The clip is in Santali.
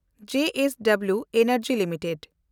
JSW energy limited